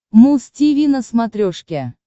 муз тиви на смотрешке